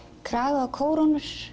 kraga og